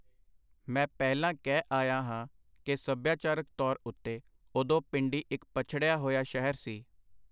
ਮੈਂ ਪਹਿਲਾਂ ਕਹਿ ਆਇਆ ਹਾਂ ਕਿ ਸਭਿਆਚਾਰਕ ਤੌਰ ਉਤੇ ਓਦੋਂ ਪਿੰਡੀ ਇਕ ਪਛੜਿਆ ਹੋਇਆ ਸ਼ਹਿਰ ਸੀ.